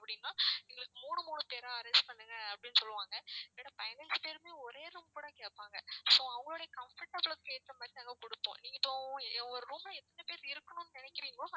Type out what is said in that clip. அப்படின்னா எங்களுக்கு மூணு மூணு பேரா arrange பண்ணுங்க அப்படின்னு சொல்லுவாங்க இல்லைனா பதினஞ்சு பேருமே ஒரே room கூட கேப்பாங்க so அவங்களுடைய comfortable க்கு ஏத்த மாதிரி நாங்க கொடுப்போம் நீங்க இப்போ எவ்~ ஒரு room ல எத்தன பேர் இருக்கணும்ன்னு நினைக்கிறீங்களோ